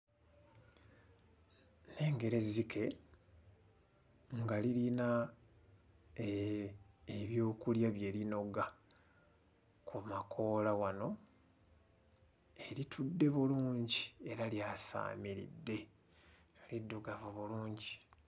Ekifaananyi kino kirabikiramu obutambaala obw'enjawulo nga buzingiddwa era buli mu langi ez'enjawulo. Ku langi zino kuliko emmyufu, enzirugavu, eya kitaka, eya kacungwa, eya bbululu era kuliko obuweta obuteereddwako.